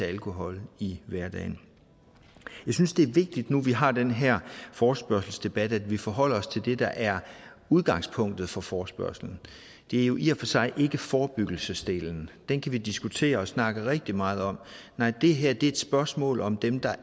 alkohol i hverdagen jeg synes det er vigtigt nu hvor vi har den her forespørgselsdebat at vi forholder os til det der er udgangspunktet for forespørgslen det er jo i og sig ikke forebyggelsesdelen den kan vi diskutere og snakke rigtig meget om nej det her er et spørgsmål om dem der